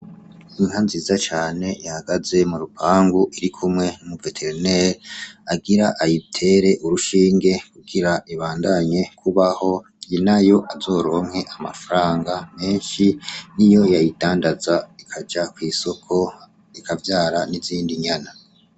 Inka nziza cane ihagaze murupangu irikumwe numu vétérinaire agira ayitere urushinge kugira ibandanye kubaho nyenayo uzoronke amafaranga menshi niyo yayindandaza ikaja kwisoko ikavyara n’izindi nyana.